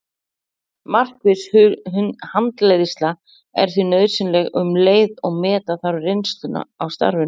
Markviss handleiðsla er því nauðsynleg um leið og meta þarf reynsluna af starfinu.